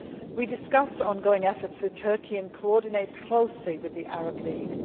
We discussed ongoing efforts with Turkey and we are coordinating closely with the Arab League.